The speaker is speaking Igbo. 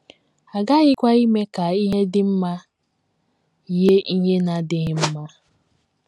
A ghaghịkwa ime ka ihe dị mma yie ihe na - adịghị mma. ”